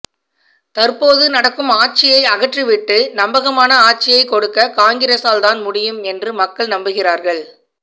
தற்போது நடக்கும் ஆட்சியை அகற்றிவிட்டு நம்பகமான ஆட்சியைக் கொடுக்க காங்கிரஸால்தான் முடியும் என்று மக்கள் நம்புகிறார்கள்